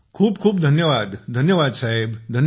खूप खूप धन्यवाद धन्यवाद साहेब धन्यवाद